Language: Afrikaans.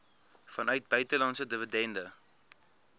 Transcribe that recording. vanuit buitelandse dividende